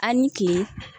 A' ni kin